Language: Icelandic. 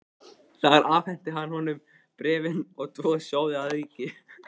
Þar afhenti hann honum bréfin og tvo sjóði að auki.